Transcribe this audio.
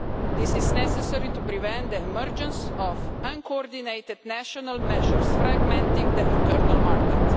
This is necessary to prevent the emergence of uncoordinated national measures, fragmenting the internal market.